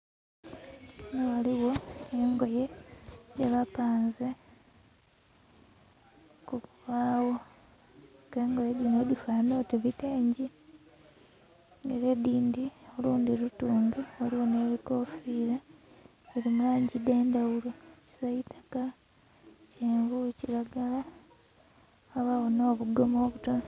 Ghano ghaligho engoye dhebapanze ku bubagho k'engoye dhino dhifanana oti bitengi era olundhi lutunge waliwo n'ebikofira, dhiri mu langi dh'endhaghulo kisitaka, kyenvu kiragala ghabagho no bugoma obutono.